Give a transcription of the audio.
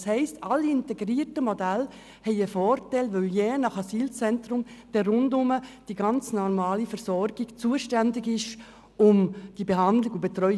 Das heisst, alle integrierten Modelle haben einen Vorteil, denn je nach Asylzentrum sind die ganz normalen Versorger der jeweiligen Umgebung zuständig für die Behandlung und Betreuung.